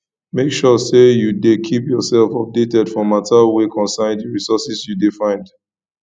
make sure say you de keep yourself updated for matter wey concern di resources you de find